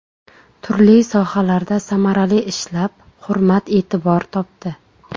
Turli sohalarda samarali ishlab hurmat-e’tibor topdi.